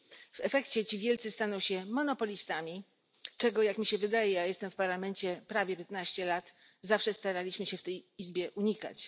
W efekcie ci wielcy staną się monopolistami, czego jak mi się wydaje, a jestem w Parlamencie prawie 15 lat, zawsze staraliśmy się w tej Izbie unikać.